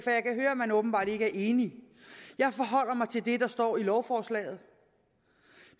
man åbenbart ikke er enige jeg forholder mig til det der står i lovforslaget